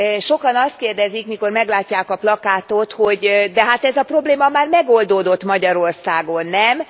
Sokan azt kérdezik, mikor meglátják a plakátot, hogy De hát ez a probléma már megoldódott Magyarországon, nem?.